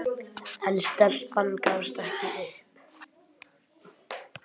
En stelpan gafst ekki upp.